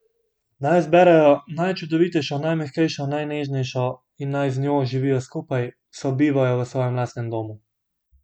Naj izberejo najčudovitejšo, najmehkejšo, najnežnejšo in naj z njo živijo skupaj, sobivajo v svojem lastnem domu.